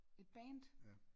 Et band?